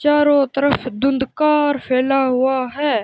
चारों तरफ धुंधकार फैला हुआ है।